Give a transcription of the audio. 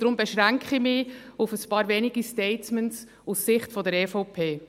Darum beschränke ich mich auf ein paar wenige Statements aus Sicht der EVP.